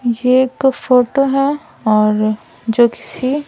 ये एक फोटो है और जो किसी --